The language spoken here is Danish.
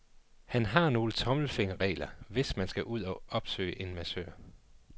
Han har nogle tommelfingerregler, hvis man skal ud og opsøge en massør.